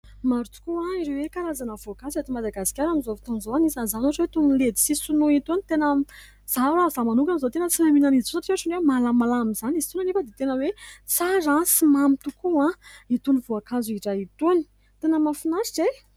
Maro tokoa ireo hoe karazana voankazo eto Madagasikara amin'izao fotoana izao. Anisan'izany ohatra hoe itony letisia sinoa itony. Tena izaho raha izaho manokana izao tena tsy mahay mihinana an'izy itony, satria ohatrany hoe malamalama izany izy itony ; nefa dia tena hoe tsara sy mamy tokoa itony voankazo iray itony. Tena mahafinaritra e ?